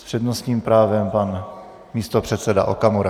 S přednostním právem pan místopředseda Okamura.